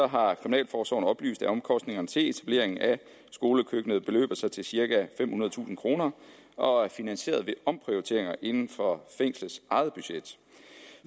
har kriminalforsorgen oplyst at omkostningerne til etablering af skolekøkkenet beløber sig til cirka femhundredetusind kroner og er finansieret ved omprioriteringer inden for fængslets eget budget